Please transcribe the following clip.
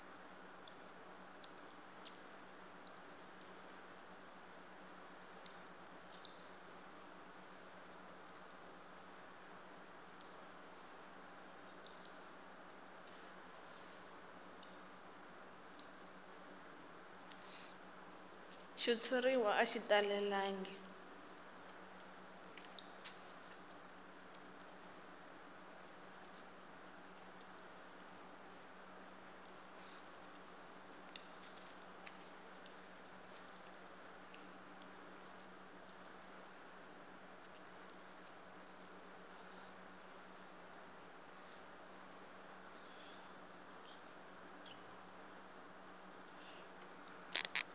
xitshuriwa a xi talelangi